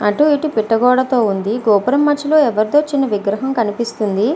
అటు ఇటు పిట్ట గోడ ఉనాది గోపురం మధ్య లొ చిన్న విగ్రహము కనిపెస్తునది.